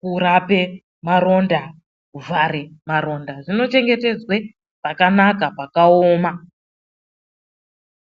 kurape maronda, kuvhare maronda inochengetedzwe pakanaka pakaoma.